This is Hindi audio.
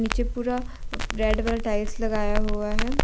जे पूरा रेड कलर टाइल्स लगाया हुआ है।